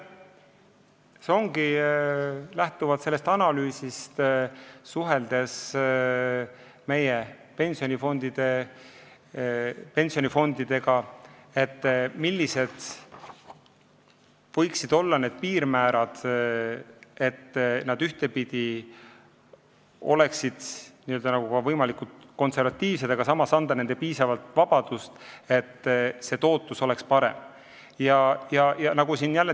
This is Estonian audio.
Seda on tehtud lähtuvalt sellest analüüsist, mis tehti, suheldes meie pensionifondidega, et selgitada, millised võiksid piirmäärad olla, et nad oleksid võimalikult konservatiivsed, aga samas saaks anda piisavalt vabadust, et tootlus oleks parem.